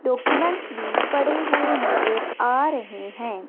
Documents भी पड़े हुए नजर आ रहे हैं।